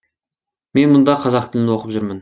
мен мұнда қазақ тілін оқып жүрмін